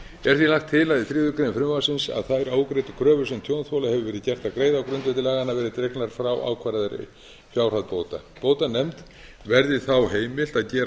lagt til í þriðju greinar frumvarpinu að þær ógreiddu kröfur sem tjónþola hefur verið gert að greiða á grundvelli laganna verði dregnar frá ákvarðaðri fjárhæð bóta bótanefnd verði þá heimilt að gera